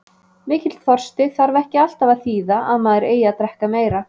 Mikill þorsti þarf ekki alltaf að þýða að maður eigi að drekka meira.